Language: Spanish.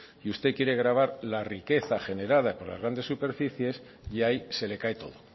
y usted quiere gravar la riqueza generada por las grandes superficies y ahí se le cae todo